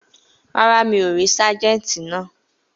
Rárá, mi ò rí sájẹ́ǹtì náà